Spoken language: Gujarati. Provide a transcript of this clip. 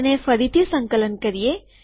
તેને ફરીથી સંકલન કરીએ